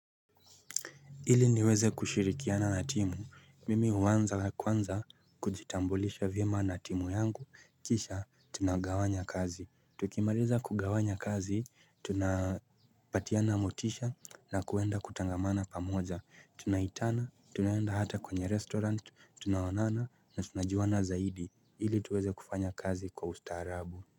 Hili niweze kushirikiana natimu, mimi huanza kwanza kujitambulisha vyema natimu yangu, kisha tunagawanya kazi. Tukimaliza kugawanya kazi, tunapatia na motisha na kuenda kutangamana pamoja. Tunaitana, tunaenda hata kwenye restaurant, tunaoanana na tunajiwana zaidi. Hili tuweze kufanya kazi kwa usta harabu.